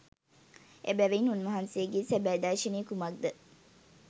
එබැවින් උන්වහන්සේගේ සැබෑ දර්ශනය කුමක්ද